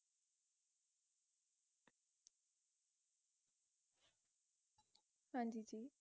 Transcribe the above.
ਹਾਂਜੀ ਜੀ